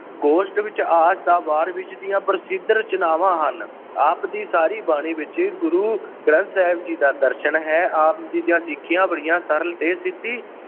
ਗੋਸ਼ਟ ਵਿੱਚ ਆਸਾ ਦੀ ਵਾਰ ਵਿੱਚ ਦੀਆਂ ਪ੍ਰਸਿੱਧ ਰਚਨਾਵਾਂ ਹਨ । ਆਪ ਦੀ ਸਾਰੀ ਬਾਣੀ ਵਿੱਚ ਗੁਰੂ ਗੰਥ ਸਾਹਿਬ ਜੀ ਦਾ ਦਰਸ਼ਨ ਹੈ। ਆਪ ਦੀ ਸਿੱਖਿਆ ਬੜੀਆਂ ਸਰਲ ਤੇ ਸਿੱਧੀ